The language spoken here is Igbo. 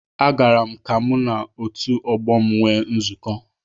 Agara m ka mụ na otu ọgbọ m nwee nzukọ